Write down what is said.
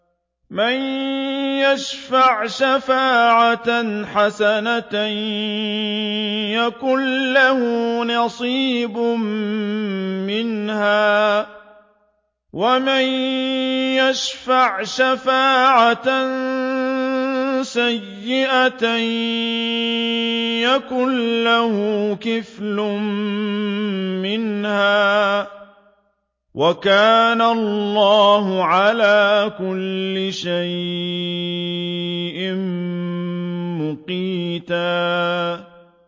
مَّن يَشْفَعْ شَفَاعَةً حَسَنَةً يَكُن لَّهُ نَصِيبٌ مِّنْهَا ۖ وَمَن يَشْفَعْ شَفَاعَةً سَيِّئَةً يَكُن لَّهُ كِفْلٌ مِّنْهَا ۗ وَكَانَ اللَّهُ عَلَىٰ كُلِّ شَيْءٍ مُّقِيتًا